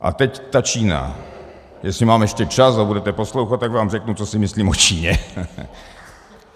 A teď ta Čína - jestli mám ještě čas a budete poslouchat, tak vám řeknu, co si myslím o Číně.